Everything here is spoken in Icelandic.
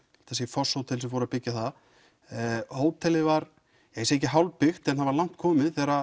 Fosshótel sem fóru að byggja það hótelið var ekki hálfbyggt en langt komið þegar